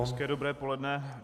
Hezké dobré poledne.